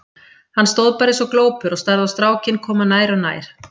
Hann stóð bara eins og glópur og starði á strákinn koma nær og nær.